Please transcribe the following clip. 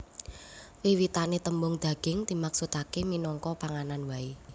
Wiwitané tembung daging dimaksudaké minangka panganan waé